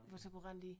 Hvor så kunne rende i